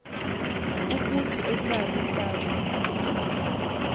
ukuthi esaph esaph